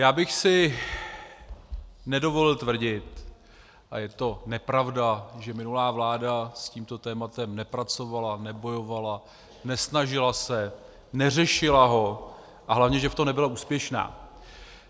Já bych si nedovolil tvrdit, a je to nepravda, že minulá vláda s tímto tématem nepracovala, nebojovala, nesnažila se, neřešila ho a hlavně, že v tom nebyla úspěšná.